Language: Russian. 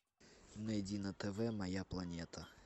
найди на тв моя планета